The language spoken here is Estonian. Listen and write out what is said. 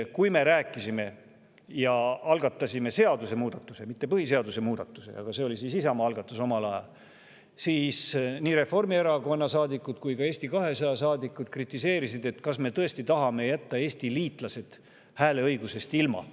Kui me algatasime seadusemuudatuse – mitte põhiseaduse muudatuse, aga see oli Isamaa algatus omal ajal –, siis nii Reformierakonna saadikud kui ka Eesti 200 saadikud kritiseerisid, kas me tõesti tahame jätta Eesti liitlas hääleõigusest ilma.